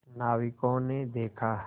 नाविकों ने देखा